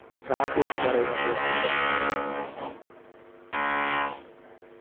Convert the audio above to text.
ഭ്രാന്ത് എന്ന് പറയുന്നത് അത് തന്നെയായിരുന്നു